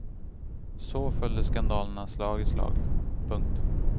Så följde skandalerna slag i slag. punkt